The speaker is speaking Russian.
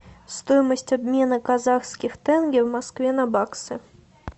стоимость обмена казахских тенге в москве на баксы